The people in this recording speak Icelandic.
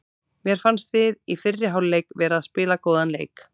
Mér fannst við í fyrri hálfleik vera að spila góðan leik.